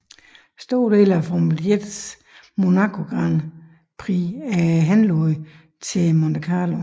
Store dele af Formel 1s Monaco Grand Prix er henlagt til Monte Carlo